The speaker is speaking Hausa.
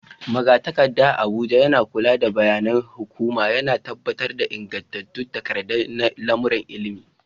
Magatakarda a Abuja yana kula da bayanan hukuma, yana tabbatar da ingantattun takardu na lamuran ilimi,